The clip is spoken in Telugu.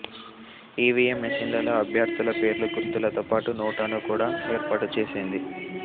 ఈవీఎం మెషిన్లలో అభ్యర్థుల పేర్లు గుర్తులతో పాటు నోటాను కూడా ఏర్పాటుచేసింది